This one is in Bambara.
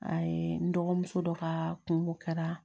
A ye n dɔgɔmuso dɔ kaa kungo kɛra